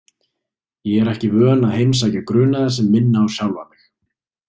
Ég er ekki vön að heimsækja grunaða sem minna á sjálfa mig.